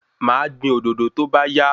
Ma gbin òdòdó tóbá yá